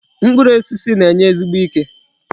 Mkpụrụ osisi na-enye ezigbo ike.